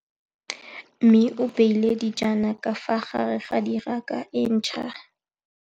Mmê o beile dijana ka fa gare ga raka e ntšha.